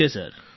ઠીક છે સર